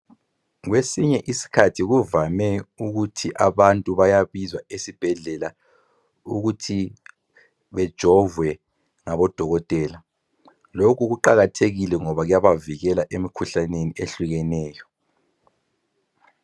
Kwesinye sikhathi kuvame ukuthi abantu bayabizwa esibhedlela ukuthi bejovwe ngabo Dokotela .Lokhu kuqakathekile ngoba kuyavikela emikhuhlaneni ehlukeneyo.